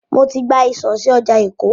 Mo ti gba ìsọ̀ sí ọjà Èkó.